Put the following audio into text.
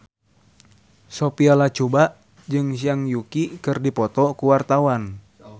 Sophia Latjuba jeung Zhang Yuqi keur dipoto ku wartawan